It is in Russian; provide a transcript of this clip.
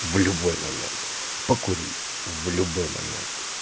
в любой момент покурить в любой момент